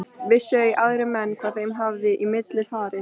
Vissu ei aðrir menn hvað þeim hafði í milli farið.